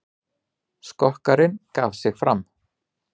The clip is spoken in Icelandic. Skokkarinn gaf sig fram